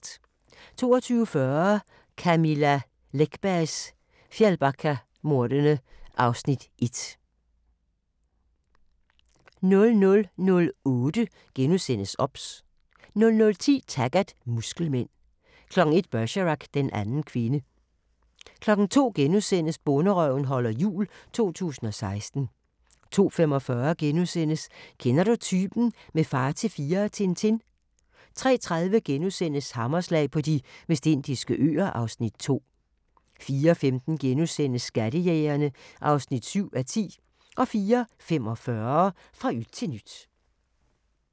22:40: Camilla Läckbergs Fjällbackamordene (Afs. 1) 00:08: OBS * 00:10: Taggart: Muskelmænd 01:00: Bergerac: Den anden kvinde 02:00: Bonderøven holder jul – 2016 * 02:45: Kender du typen? – med Far til fire og Tintin * 03:30: Hammerslag på De Vestindiske Øer (Afs. 2)* 04:15: Skattejægerne (7:10)* 04:45: Fra yt til nyt